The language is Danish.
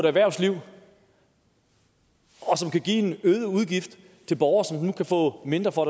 erhvervslivet og som kan give en øget udgift til borgere som nu kan få mindre for